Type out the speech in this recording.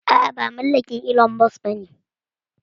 A'a ba mallakin Ilon Mos bane